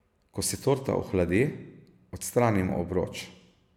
Ko se torta ohladi, odstranimo obroč.